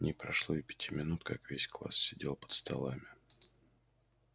не прошло и пяти минут как весь класс сидел под столами